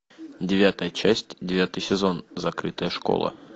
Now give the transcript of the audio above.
девятая часть девятый сезон закрытая школа